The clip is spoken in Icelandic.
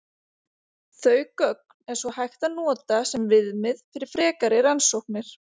Þau gögn er svo hægt að nota sem viðmið fyrir frekari rannsóknir.